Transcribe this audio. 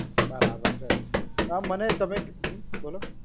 બરાબર છે, હવે મને તમે, હમ બોલો